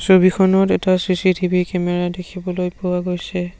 ছবিখনত এটা CCTV camera দেখিবলৈ পোৱা গৈছে।